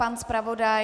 Pan zpravodaj?